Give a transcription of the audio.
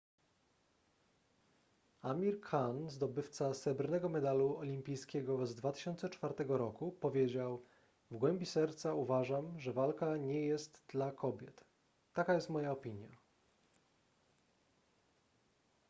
amir khan zdobywca srebrnego medalu olimpijskiego z 2004 roku powiedział w głębi serca uważam że walka nie jest dla kobiet taka jest moja opinia